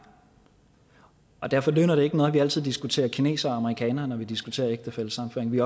derfor nytter det ikke noget at vi altid diskuterer kinesere og amerikanere når vi diskuterer ægtefællesammenføring vi